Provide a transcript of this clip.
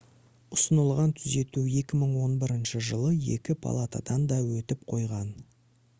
ұсынылған түзету 2011 жылы екі палатадан да өтіп қойған